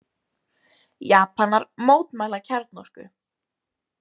Japanar mótmæla kjarnorku